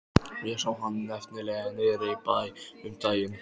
Ég sá hann nefnilega niðri í bæ um daginn.